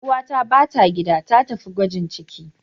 Ƴar uwata bata gida, ta tafi gwajin ciki.